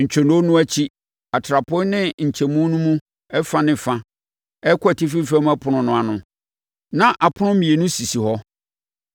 Ntwonoo no akyi, atrapoe no nkyɛn mu fa ne fa a ɛrekɔ atifi fam ɛpono no ano no, na apono mmienu sisi hɔ.